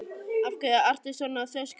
Af hverju ertu svona þrjóskur, Rómeó?